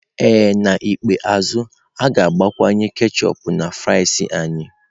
Ee N'ikpeazụ, ha ga-agbakwunye ketchup na fries anyị.